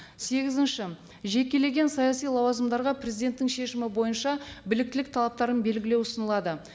сегізінші жекелеген саяси лауазымдарға президенттің шешімі бойынша біліктілік талаптарын белгілеу ұсынылады